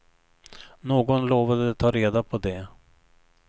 Någon lovade ta reda på det.